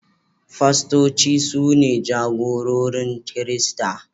Pastoci su ne jagororin Kirista.